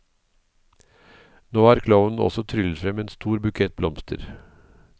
Nå har klovnen også tryllet frem en stor bukett blomster.